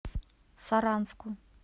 саранску